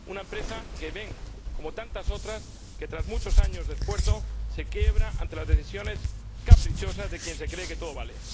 una empresa que ve, como tantas otras, que, tras muchos años de esfuerzo, se quiebra ante las decisiones caprichosas de quien se cree que todo vale.